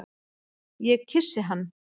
Ég kyssi hann.